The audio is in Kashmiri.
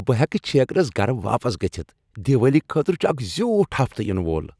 بہٕ ہیٚکہٕ چھیكرس گرٕ واپس گژھتھ۔ دیوالی خٲطرٕ چھٗ اکھ زیوُٹھ ہفتہٕ ینہٕ وول۔